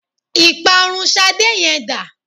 Ìparun Ṣadé yẹn dá?